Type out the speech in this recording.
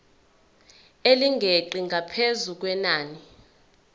elingeqi ngaphezu kwenani